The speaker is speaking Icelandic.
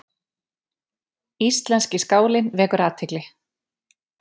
Íslenski skálinn vekur athygli